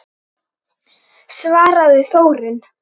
svaraði Þórunn.